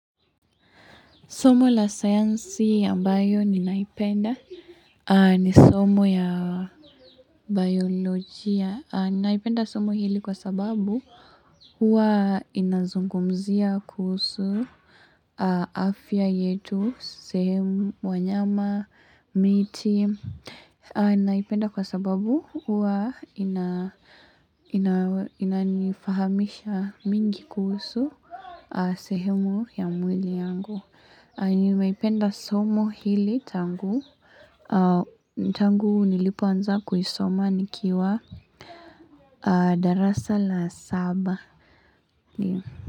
Somo la sayansi ambayo ninaipenda ni somo ya biyolojia. Ninaipenda somo hili kwa sababu huwa inazungumzia kuhusu, afya yetu, sehemu, wanyama, miti. Ninaipenda kwa sababu huwa ina inanifahamisha mingi kuhusu, sehemu ya mwili yangu. Nimeipenda somo hili tangu, tangu nilipoanza kuisoma nikiwa darasa la saba.